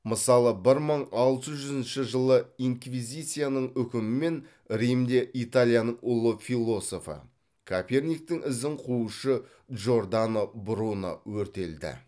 мысалы бір мың алты жүзінші жылы инквизицияның үкімімен римде италияның ұлы философы коперниктің ізін қуушы джордано бруно өртелді